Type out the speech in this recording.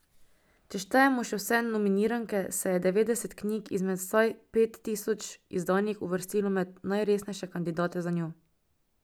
Če štejemo še vse nominiranke, se je devetdeset knjig izmed vsaj pet tisoč izdanih uvrstilo med najresnejše kandidate zanjo.